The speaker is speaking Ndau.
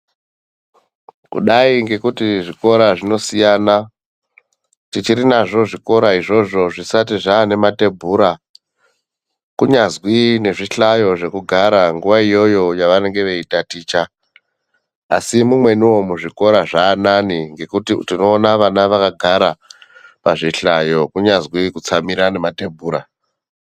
Kudai ngekuti zvikora zvinosiyana tichiri nazvo zvikora izvozvo zvisati zvaane matebhura kunyazwi nezvihlayo zvekugara nguva iyoyo yavanenge veitaticha asi mumweniwo muzvikora zvaanane ngekuti tinoona vana vakagara pazvihlayo kunyazi kutsamira nematebhura.